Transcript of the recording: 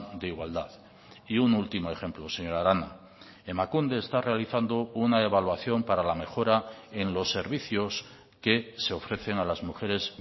de igualdad y un último ejemplo señora arana emakunde está realizando una evaluación para la mejora en los servicios que se ofrecen a las mujeres